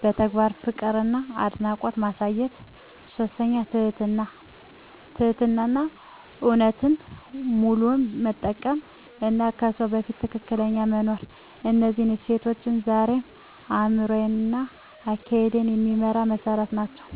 በተግባር ፍቅርና አድናቆት ማሳየት። 3. ትህትናና እውነተኝነት፣ ውሉን መጠበቅ እና በሰው ፊት ትክክል መኖር። እነዚህ እሴቶች ዛሬም አእምሮዬን እና አካሄዴን የሚመራ መሠረት ናቸው።